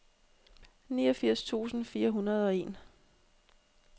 niogfirs tusind fire hundrede og en